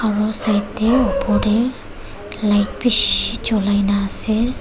Aru side tey opor dey light bishi jolai na ase.